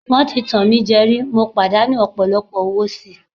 Wọ́n ti tàn mí jẹ rí, mo pàdánù ọ̀pọ̀lọpọ̀ owó síi.